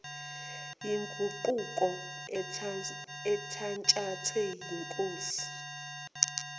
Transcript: yoguquko ethatshathwe yingosi